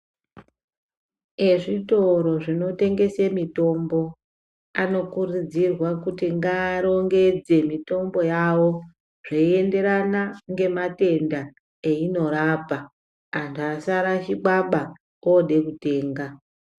Vezvitoro zvinotengesa mitombo anokurudzirwa kuti ngarongedze mitombo yavo zveienderana ngematenda ainorapa antu asarashikwaba odetenga.